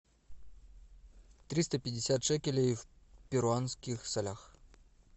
триста пятьдесят шекелей в перуанских солях